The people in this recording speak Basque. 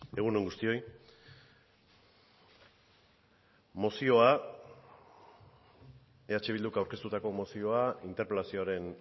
egun on guztioi mozioa eh bilduk aurkeztutako mozioa interpelazioaren